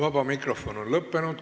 Vaba mikrofon on lõppenud.